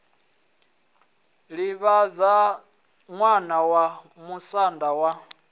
livhaṋda ṋwana wa musanda wa